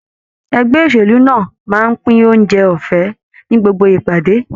Ẹgbẹ́ òṣèlú náà máa ń pín oúnjẹ ọ̀fẹ́ ni gbogbo ìpàdé.